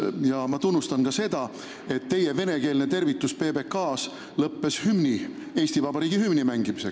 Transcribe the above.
Ja ma tunnustan ka seda, et teie venekeelne tervitus PBK-s lõppes Eesti Vabariigi hümni mängimisega.